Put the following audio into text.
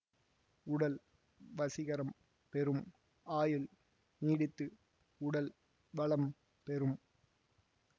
உடல் வசீகரம் பெறும் ஆயுள் நீடித்து உடல் வளம் பெறும்